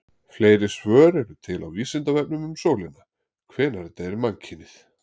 Fleiri svör eru til á Vísindavefnum um sólina: Hvenær deyr mannkynið?